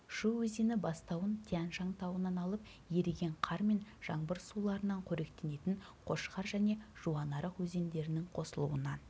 шу өзені бастауын тянь шань тауынан алып еріген қар мен жаңбыр суларынан қоректенетін қошқар және жуанарық өзендерінің қосылуынан